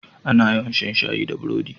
A na yawa shan shayi da burodi